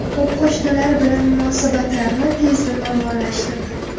U qo‘shnilar bilan munosabatlarni tezda normallashtirdi.